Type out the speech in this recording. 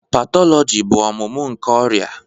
Pathology bụ ọmụmụ nke ọrịa.